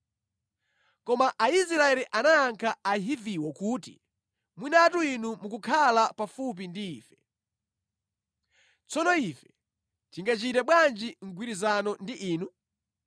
Koma Aisraeli anayankha Ahiviwo kuti, “Mwinatu inu mukukhala pafupi ndi ife. Tsono ife tingachite bwanji mgwirizano ndi inu?”